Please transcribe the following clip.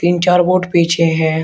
तीन चार बोट पीछे है।